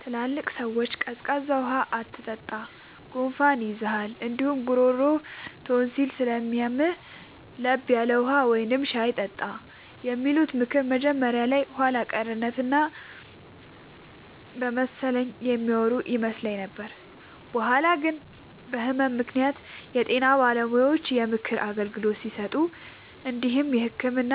ትላልቅ ሰዎች “ቀዝቃዛ ውሃ አትጠጣ፣ ጉንፋን ይይዝሃል እንዲሁም ጉሮሮህን ቶንሲል ስለሚያምህ፤ ለብ ያለ ውሃ ወይም ሻይ ጠጣ” የሚሉት ምክር መጀመሪያ ላይ የኋላ ቀርነት እና በመሰለኝ የሚያወሩ ይመስል ነበር። በኋላ ግን በህመም ምክንያት የጤና ባለሙያዎች የምክር አገልግሎት ሲሰጡ እንዲሁም የህክምና